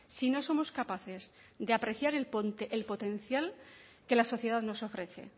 si no somos capaces de apreciar el potencial que la sociedad nos ofrece